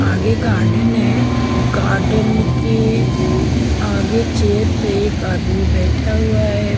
आगे गार्डन है गार्डन के आगे चेयर पे एक आदमी बैठा हुआ है।